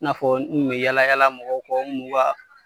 I n'a fɔ n kun bi yaala yaala mɔgɔ kɔ, n kun m'u ka